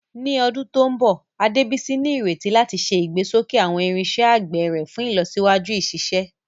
Ní ọdún tó ń bọ̀, Adebisi ní ìrètí láti ṣe ìgbésókè àwọn irinṣẹ́ àgbẹ̀ rẹ̀ fún ìlọsíwájú ìṣiṣẹ́.